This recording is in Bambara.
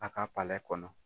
A ka kɔnɔ.